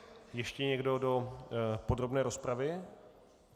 Ještě někdo do podrobné rozpravy?